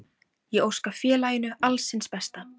Ég óska félaginu alls hins besta.